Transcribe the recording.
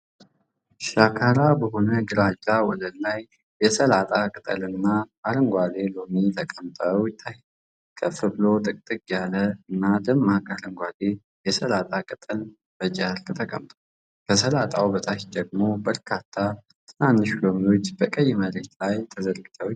ሻካራ በሆነ ግራጫ ወለል ላይ የሰላጣ ቅጠልና አረንጓዴ ሎሚ ተቀምጠው ይታያል። ከፍ ብሎ ጥቅጥቅ ያለና ደማቅ አረንጓዴ የሰላጣ ቅጠል በጨርቅ ላይ ተቀምጧል። ከሰላጣው በታች ደግሞ በርካታ ትናንሽ ሎሚዎች በቀይ መሬት ላይ ተዘርግተው ይታያሉ።